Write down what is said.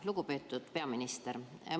Lugupeetud peaminister!